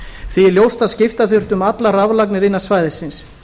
því er ljóst að skipta þurfti um allar raflagnir innan svæðisins